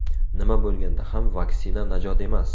Nima bo‘lganda ham vaksina najot emas.